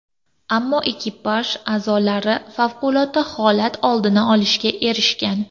Ammo ekipaj a’zolari favqulodda holat oldini olishga erishgan.